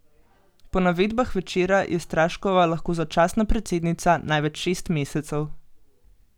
Po navedbah Večera je Straškova lahko začasna predsednica največ šest mesecev.